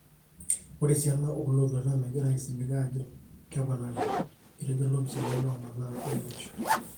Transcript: Ore esiana olotwata megirae aisilig ajo keponari ,etejo lopisani lomanaa aingorisho.